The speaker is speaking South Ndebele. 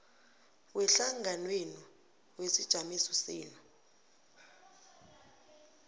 wehlanganwenu wesijamiso senu